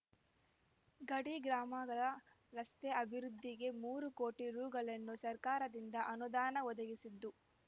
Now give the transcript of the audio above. ಗಡಿ ಗ್ರಾಮಗಳ ರಸ್ತೆ ಅಭಿವೃದ್ಧಿಗೆ ಮೂರು ಕೋಟಿ ರೂಗಳನ್ನು ಸರ್ಕಾರದಿಂದ ಅನುದಾನ ಒದಗಿಸಿದ್ದು